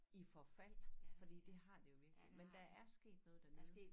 I forfald fordi det har det jo virkelig men der er sket noget dernede